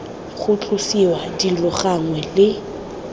ga tlosiwa dilo gangwe le